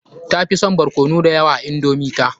Tafi son barkono da yawa a indomi ta.